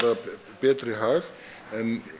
betri hag en